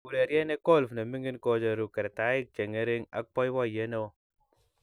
Urerie ne golf ne mining kocheruu kertaik che ngering ak boiboyee ne oo.